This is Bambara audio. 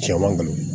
Cɛman ŋɔnɔ